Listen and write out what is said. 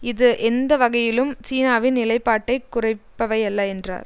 இது எந்த வகையிலும் சீனாவின் நிலைப்பாட்டை குறிப்பவையல்ல என்றார்